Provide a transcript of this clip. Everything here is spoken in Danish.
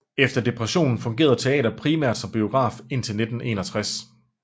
Efter depressionen fungerede teatret primært som biograf indtil 1961